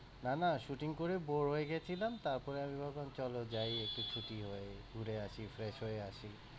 না না shoting করে bore হয়ে গিয়েছিলাম, তারপরে আমি ভাবলাম চলো যায় একটু ছুটি হয়ে ঘুরে আসি fresh হয়ে আসি।